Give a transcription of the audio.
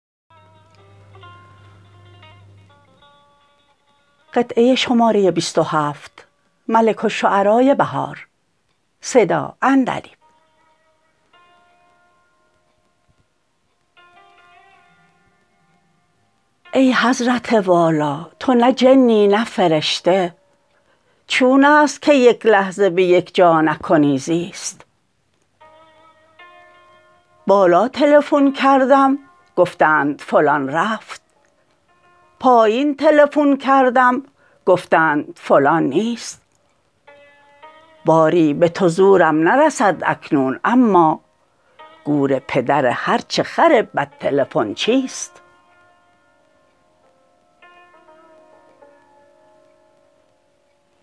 ای حضرت والا تو نه جنی نه فرشته چونست که یک لحظه به یک جا نکنی زیست بالا تلفون کردم گفتند فلان رفت پایین تلفون کردم گفتند فلان نیست باری به تو زورم نرسد اکنون اما گور پدر هرچه خر بلد تلفونچی است